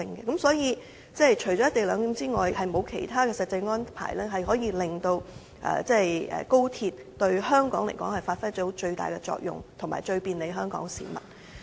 因此，除了"一地兩檢"之外，沒有其他實際安排可以令高鐵發揮最大效用、最便利香港市民。